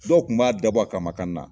Dɔw kun b'a dab'a kama ka na